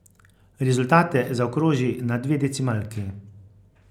Rezultate zaokroži na dve decimalki.